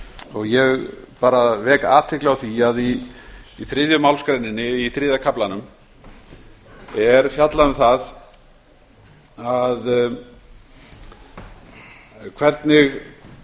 og ég vek athygli á því að í þriðju málsgrein í þriðja kaflanum er fjallað um það hvernig